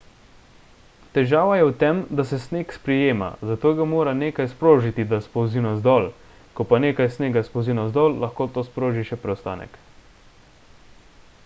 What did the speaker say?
težava je v tem da se sneg sprijema zato ga mora nekaj sprožiti da spolzi navzdol ko pa nekaj snega spolzi navzdol lahko to sproži še preostanek